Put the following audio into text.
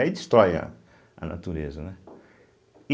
Aí destrói a a natureza, né. e